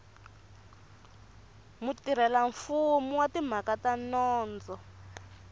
mutirhelamfumo wa timhaka ta nondzo